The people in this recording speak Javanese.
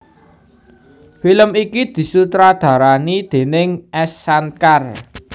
Film iki disutradarani déning S Shankar